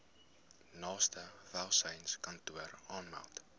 naaste welsynskantoor aanmeld